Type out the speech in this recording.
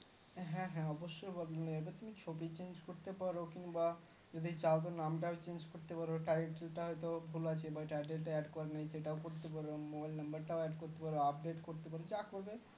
হ্যাঁ হ্যাঁ অবস্যই বদলানো যাবে তুমি ছবি change করতে পারো কিনবা যদি চাও নামটা change করতে পারো title টাও হয়তো ভুল আছে বা title হয়তো ভুল আছে বা title টাও add করোনি সেটা করতে পারো mobile number টাও add করতে পারো Update করতে পারো যা করবে